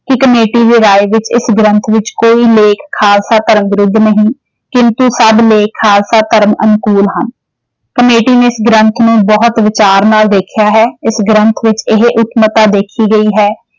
ਕਿ ਕਮੇਟੀ ਦੀ ਰਾਇ ਵਿੱਚ ਇਸ ਗ੍ਰੰਥ ਵਿੱਚ ਕੋਈ ਲੇਖ ਖਾਲਸਾ ਧਰਮ ਵਿਰੁੱਧ ਨਹੀਂ ਕਿੰਤੂ ਸਭ ਲੇਖ ਖਾਲਸਾ ਧਰਮ ਅਨੁਕੂਲ ਹਨ।